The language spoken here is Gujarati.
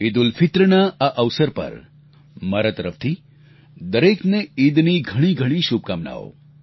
ઈદઉલફિત્રના આ અવસર પર મારા તરફથી દરેકને ઈદની ઘણી ઘણી શુભકામનાઓ